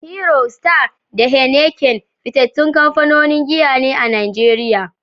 Hero, Star, da Heineken fitattun kamfanonin giya ne a Najeriya.